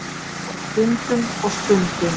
Og stundum. og stundum.